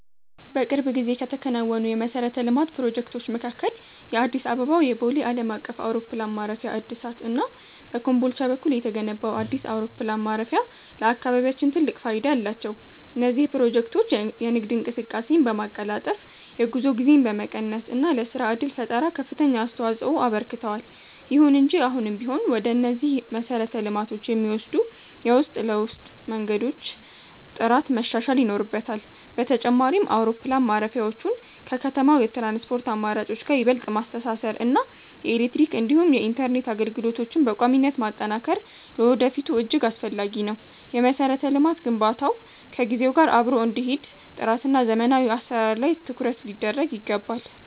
በቅርብ ጊዜ ከተከናወኑ የመሠረተ ልማት ፕሮጀክቶች መካከል የአዲስ አበባው የቦሌ ዓለም አቀፍ አውሮፕላን ማረፊያ እድሳት እና በኮምቦልቻ በኩል የተገነባው አዲስ አውሮፕላን ማረፊያ ለአካባቢያችን ትልቅ ፋይዳ አላቸው። እነዚህ ፕሮጀክቶች የንግድ እንቅስቃሴን በማቀላጠፍ፣ የጉዞ ጊዜን በመቀነስ እና ለሥራ ዕድል ፈጠራ ከፍተኛ አስተዋፅኦ አበርክተዋል። ይሁን እንጂ አሁንም ቢሆን ወደ እነዚህ መሰረተ ልማቶች የሚወስዱ የውስጥ ለውስጥ መንገዶች ጥራት መሻሻል ይኖርበታል። በተጨማሪም፣ አውሮፕላን ማረፊያዎቹን ከከተማው የትራንስፖርት አማራጮች ጋር ይበልጥ ማስተሳሰር እና የኤሌክትሪክ እንዲሁም የኢንተርኔት አገልግሎቶችን በቋሚነት ማጠናከር ለወደፊቱ እጅግ አስፈላጊ ነው። የመሠረተ ልማት ግንባታው ከጊዜው ጋር አብሮ እንዲሄድ ጥራትና ዘመናዊ አሠራር ላይ ትኩረት ሊደረግ ይገባል።